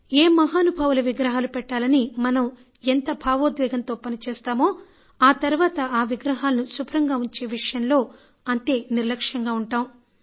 ఏ మహానుభావుల విగ్రహాలు పెట్టాలని మనం ఎంతో భావోద్వేగంతో పని చేస్తామో ఆ తర్వాత ఆ విగ్రహాలను శుభ్రంగా ఉంచే విషయంలో అంతే నిర్లక్ష్యంగా ఉంటాం